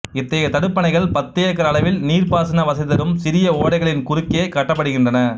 இத்தகைய தடுப்பணைகள் பத்து ஏக்கர் அளவில் நீர்ப்பாசன வசதி தரும் சிறிய ஓடைகளின் குறுக்கேயே கட்டப்படுகின்றன